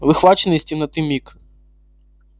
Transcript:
выхваченный из темноты миг